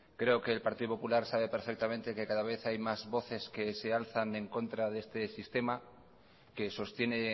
creo que el partido popular sabe perfectamente que cada vez hay más voces que se alzan en contra de este sistema que sostiene